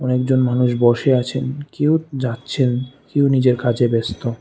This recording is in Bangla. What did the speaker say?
একজন মানুষ বসে আছেন কেউ যাচ্ছেন কেউ নিজের কাজে ব্যস্ত।